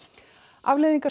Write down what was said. afleiðingar